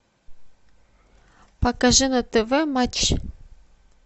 покажи на тв матч